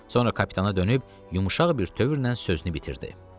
Sonra kapitana dönüb yumşaq bir tövrlə sözünü bitirdi.